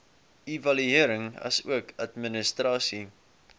evaluering asook administrasie